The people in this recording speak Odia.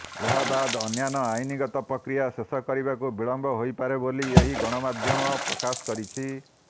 ଏହାବାଦ ଅନ୍ୟାନ୍ୟ ଆଇନଗତ ପ୍ରକ୍ରିୟା ଶେଷ କରିବାକୁ ବିଳମ୍ବ ହୋଇପାରେ ବୋଲି ଏହି ଗଣମାଧ୍ୟମ ପ୍ରକାଶ କରିଛି